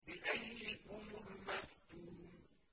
بِأَييِّكُمُ الْمَفْتُونُ